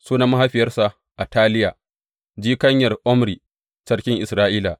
Sunan mahaifiyarsa Ataliya, jikanyar Omri, sarkin Isra’ila.